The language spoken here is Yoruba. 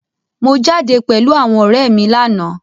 Mo jáde pẹ̀lú àwọn ọ̀rẹ́ mi láàná.